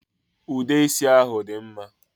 Ude isi ahụ dị mma